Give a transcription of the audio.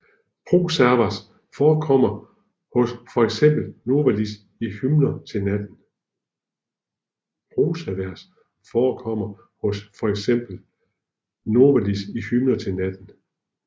Prosavers forekommer hos for eksempel Novalis i Hymner til natten